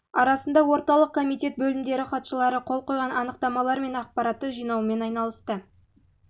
арасында орталық комитет бөлімдері хатшылары қол қойған анықтамалар мен ақпаратты жинаумен айналысты